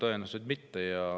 No tõenäoliselt mitte.